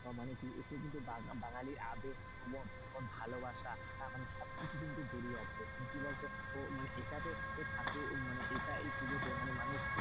মানে এথে কিন্তু বাঙালির আবেগ প্রবন ভালোবাসা মানে সবকিছু জড়িয়ে কিন্তু জড়িয়ে আছে কি বলতো আমি এটাতে ঠাকুর এই পুজোতে,